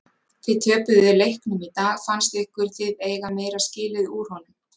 Þið töpuðu leiknum í dag fannst ykkur þið eiga meira skilið úr honum?